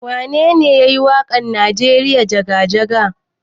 Wanene yayi wakan nijeriya jaga-jaga?